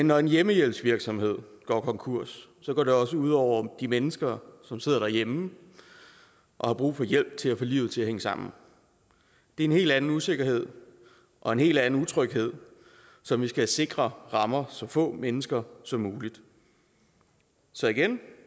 når en hjemmehjælpsvirksomhed går konkurs går det også ud over de mennesker som sidder derhjemme og har brug for hjælp til at få livet til at hænge sammen det er en helt anden usikkerhed og en helt anden utryghed som vi skal sikre rammer så få mennesker som muligt så igen